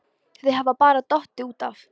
Þau hafa bara dottið út af